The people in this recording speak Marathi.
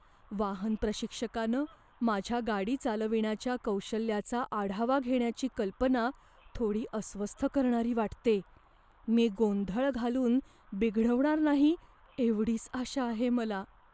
वाहन प्रशिक्षकानं माझ्या गाडी चालविण्याच्या कौशल्याचा आढावा घेण्याची कल्पना थोडी अस्वस्थ करणारी वाटते. मी गोंधळ घालून बिघडवणार नाही, एवढीच आशा आहे मला.